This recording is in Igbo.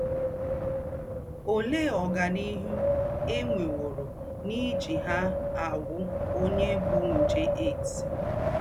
Óléé ọ́ganíhù è nwèwòrò n’íjí hà àgwụ́ ònyè bú njè HIV?